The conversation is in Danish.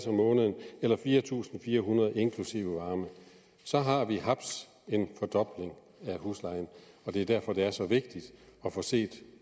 om måneden eller fire tusind fire hundrede inklusiv varme så har vi haps en fordobling af huslejen og det er derfor det er så vigtigt at få set